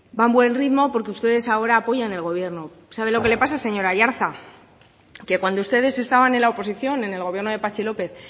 va a un buen ritmo porque ustedes ahora apoyan el gobierno sabe lo que le pasa señor aiartza que cuando ustedes estaban en la oposición en el gobierno de patxi lópez